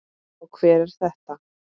Og hver er þetta?